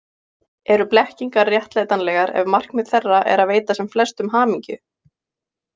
Eru blekkingar réttlætanlegar ef markmið þeirra er að veita sem flestum hamingju?